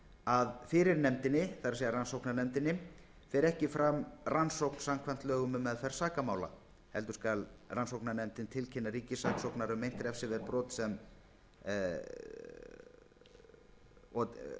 að fyrir nefndinni það er rannsóknarnefndinni fer ekki fram rannsókn samkvæmt lögum um meðferð sakamála heldur skal rannsóknarnefndin tilkynna ríkissaksóknara um meint refsiverð brot sem framin